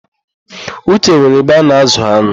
Uche nwere ebe ana-ázụ̀ an̄ụ.